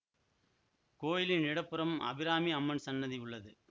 கோயிலின் இட புறம் அபிராமி அம்மன் சன்னதி உள்ளது